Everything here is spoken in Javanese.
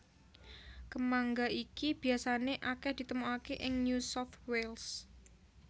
Kemangga iki biasané akèh ditemokaké ing New South Wales